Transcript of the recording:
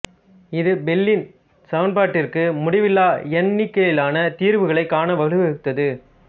இது பெல்லின் சமன்பாட்டிற்கு முடிவிலா எண்ணிக்கையிலான தீர்வுகளைக் காண வழிவகுத்தது